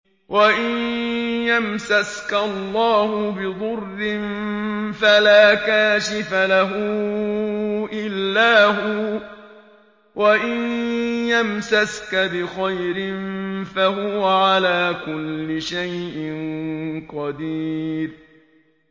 وَإِن يَمْسَسْكَ اللَّهُ بِضُرٍّ فَلَا كَاشِفَ لَهُ إِلَّا هُوَ ۖ وَإِن يَمْسَسْكَ بِخَيْرٍ فَهُوَ عَلَىٰ كُلِّ شَيْءٍ قَدِيرٌ